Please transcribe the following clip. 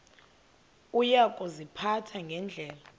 uya kuziphatha ngendlela